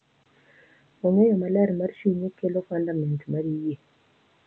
Ong’eyo maler mar chunye kelo fundament mar yie,